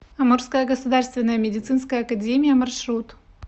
амурская государственная медицинская академия маршрут